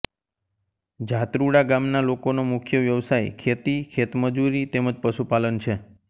જાત્રુડા ગામના લોકોનો મુખ્ય વ્યવસાય ખેતી ખેતમજૂરી તેમ જ પશુપાલન છે